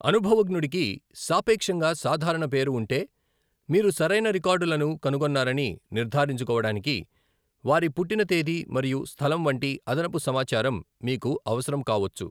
అనుభవజ్ఞుడికి సాపేక్షంగా సాధారణ పేరు ఉంటే, మీరు సరైన రికార్డులను కనుగొన్నారని నిర్ధారించుకోవడానికి వారి పుట్టిన తేదీ మరియు స్థలం వంటి అదనపు సమాచారం మీకు అవసరం కావొచ్చు.